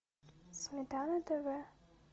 сметана тв